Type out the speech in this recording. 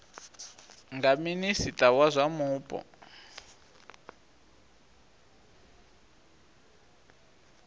nga minista wa zwa mupo